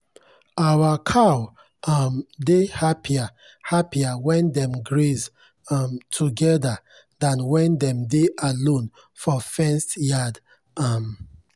our cow um dey happier happier when dem graze um together than when dem dey alone for fenced yard. um